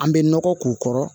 An bɛ nɔgɔ k'u kɔrɔ